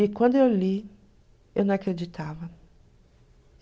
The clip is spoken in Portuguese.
E quando eu li, eu não acreditava.